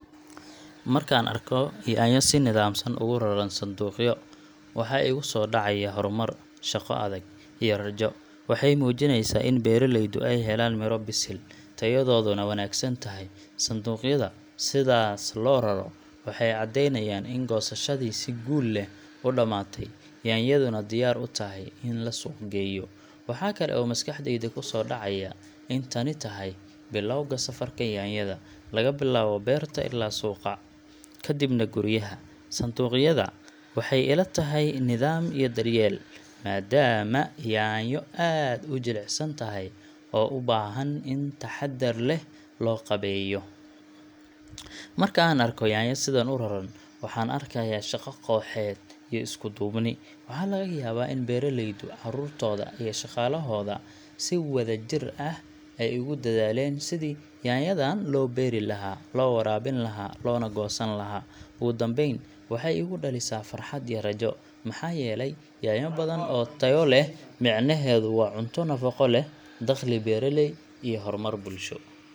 Markaan arko yaanyo si nidaamsan ugu raran sanduuqyo, waxa igu soo dhacaya horumar, shaqo adag, iyo rajo. Waxay muujinaysaa in beeraleydu ay heleen midho bisil, tayadooduna wanaagsan tahay. Sanduuqyada sidaas loo raro waxay caddeynayaan in goosashadii si guul leh u dhammaatay, yaanyaduna diyaar u tahay in la suuqa geeyo. Waxa kale oo maskaxdayda ku soo dhacaya in tani tahay bilowga safarka yaanyada — laga bilaabo beerta ilaa suuqa, kadibna guryaha. Sanduuqyada waxay ila tahay nidaam iyo daryeel, maadaama yaanyo aad u jilicsan tahay oo u baahan in taxaddar leh loo qabeeyo. Marka aan arko yaanyo sidan u raran, waxaan arkayaa shaqo kooxeed iyo isku-duubni. Waxaa laga yaabaa in beeraleydu, carruurtooda, iyo shaqaalahooda ay si wadajir ah ay ugu dadaaleen sidii yaanyadan loo beeri lahaa, loo waraabin lahaa, loona goosan lahaa. Ugu dambayn, waxay igu dhalisaa farxad iyo rajo — maxaa yeelay yaanyo badan oo tayo leh micnaheedu waa cunto nafaqo leh, dakhli beeraley, iyo horumar bulsho.